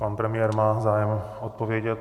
Pan premiér má zájem odpovědět.